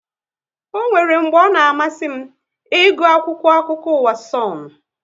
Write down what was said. Ọ nwéré mgbe ọ na amasị m ịgụ akwụkwọ akụkọ ụwa Sonu